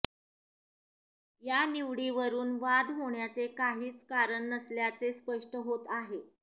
या निवडीवरुन वाद होण्याचे काहीच कारण नसल्याचे स्पष्ट होत आहे